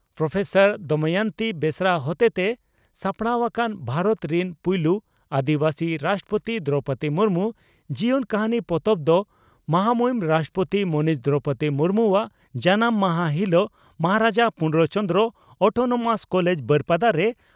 professor Damayanti Besra ᱦᱚᱛᱮᱛᱮ ᱥᱟᱯᱲᱟᱣ ᱟᱠᱟᱱ "ᱵᱷᱟᱨᱚᱛ ᱨᱤᱱ ᱯᱩᱭᱞᱩ ᱟᱹᱫᱤᱵᱟᱹᱥᱤ ᱨᱟᱥᱴᱨᱚᱯᱳᱛᱤ ᱫᱨᱚᱣᱯᱚᱫᱤ ᱢᱩᱨᱢᱩ (ᱡᱤᱭᱚᱱ ᱠᱟᱹᱦᱱᱤ)" ᱯᱚᱛᱚᱵ ᱫᱚ ᱢᱟᱦᱟᱢᱩᱦᱤᱱ ᱨᱟᱥᱴᱨᱚᱯᱳᱛᱤ ᱢᱟᱹᱱᱤᱡ ᱫᱨᱚᱣᱯᱚᱫᱤ ᱢᱩᱨᱢᱩᱣᱟᱜ ᱡᱟᱱᱟᱢ ᱦᱟᱥᱟ ᱦᱤᱞᱚᱜ ᱢᱚᱦᱟᱨᱟᱡᱟ ᱯᱩᱨᱱᱚ ᱪᱚᱱᱫᱽᱨᱚ (ᱚᱴᱚᱱᱚᱢᱟᱥ) ᱠᱚᱞᱮᱡᱽ ᱵᱟᱹᱨᱯᱟᱫᱟ ᱨᱮ